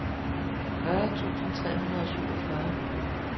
fyrre tusind tre hundrede og syvogfyrre